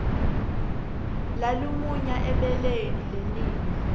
lalumunya ebeleni lenina